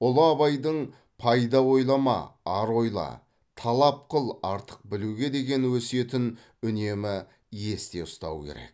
ұлы абайдың пайда ойлама ар ойла талап қыл артық білуге деген өсиетін үнемі есте ұстау керек